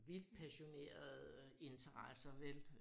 Vildt passionerede interesser vel